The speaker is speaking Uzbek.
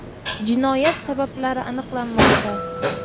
Jinoyat sabablari aniqlanmoqda.